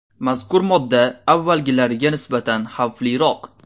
Mazkur modda avvalgilariga nisbatan xavfliroq.